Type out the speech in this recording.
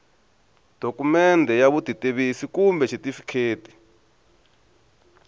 dokumende ya vutitivisi kumbe xitifiketi